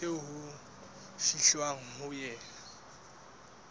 eo ho fihlwang ho yona